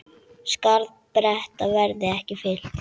Skarð Breta verði ekki fyllt.